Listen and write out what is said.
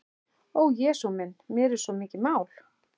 Ó Jesús minn, mér er svo mikið mál.